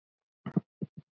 Elín Lóa.